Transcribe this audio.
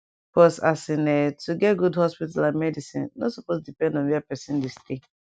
pause as in um to get good hospital and medicin nor supose depend on where pesin dey stay